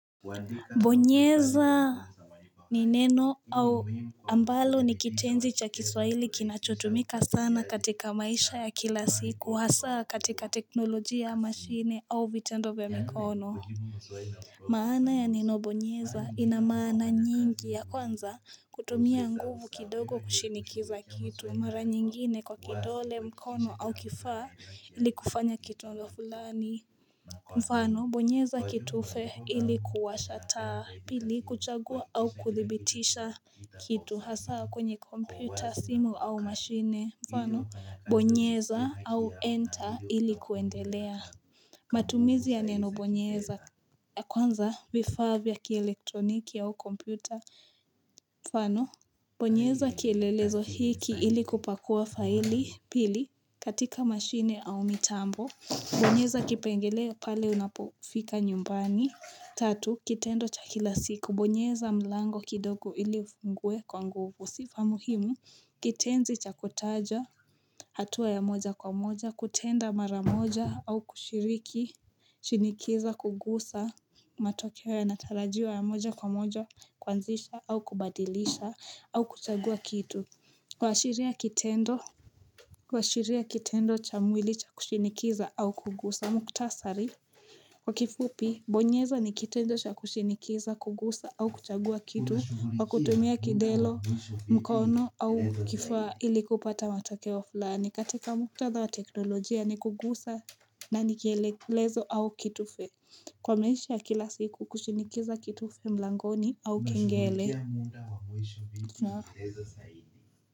Bonyeza ni neno au ambalo ni kitenzi cha kiswahili kinachotumika sana katika maisha ya kila siku, hasaa katika teknolojia ya mashini au vitendo vya mikono. Maana ya neno bonyeza ina maana nyingi ya kwanza kutumia nguvu kidogo kushinikiza kitu mara nyingine kwa kidole mkono au kifaa ili kufanya kitondo fulani. Mfano, bonyeza kitufe ili kuwasha taa, pili kuchagua au kuthibitisha kitu hasaa kwenye kompyuta, simu au mashine. Mfano, bonyeza au enter ili kuendelea. Matumizi ya neno bonyeza ya kwanza vifaa vya kielektroniki au kompyuta. Mfano, bonyeza kielelezo hiki ili kupakua faili pili katika mashine au mitambo. Bonyeza kipengele pale unapofika nyumbani Tatu, kitendo cha kila siku Bonyeza mlango kidogo ili ufungue kwa nguvu Sifa muhimu kitenzi cha kutaja hatua ya moja kwa moja kutenda mara moja au kushiriki Shinikiza kugusa matokeo yanatarajiwa ya moja kwa moja kuanzisha au kubadilisha au kuchagua kitu kuashiria kitendo kuashiria kitendo cha mwili cha kushinikiza au kugusa mkutasari kwa kifupi bonyeza ni kitendo sha kushinikiza kugusa au kuchagua kitu kwa kutumia kidelo mkono au kifua ili kupata matokeo fulani katika muktadha wa teknolojia ni kugusa na ni kielelezo au kitufe kwa maisha ya kila siku kushinikiza kitufe mlangoni au kengele.